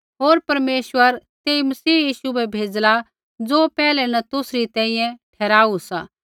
होर परमेश्वर तेई मसीह यीशु बै भेज़ला ज़ो पैहिला न तुसरी तैंईंयैं ठहराऊ सा